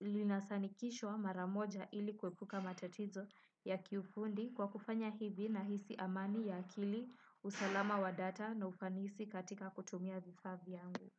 linasanikishwa mara moja ili kuepuka matatizo ya kiufundi. Kwa kufanya hivi nahisi amani ya akili usalama wa data na ufanisi katika kutumia vifaa yangu.